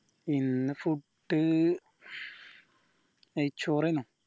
ഇന്ന് food നെയ്‌ച്ചോറേനു